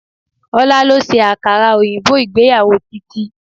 Ọlá ló ṣe àkàrà òyìnbó ìgbéyàwó Titi